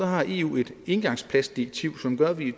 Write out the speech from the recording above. har eu et engangsplastdirektiv som gør at vi i